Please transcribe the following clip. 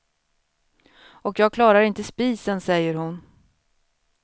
Och jag klarar inte spisen, säger hon.